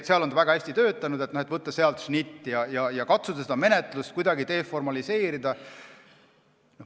Seal on ta väga hästi töötanud, võiks võtta sealt šnitti ja katsuda seda menetlust kuidagi deformaliseerida.